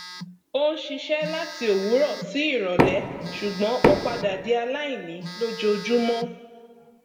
o ń ṣiṣẹ láti òwúrọ sí ìrọlẹ ṣùgbọn o padà di aláìní lójoojúmọ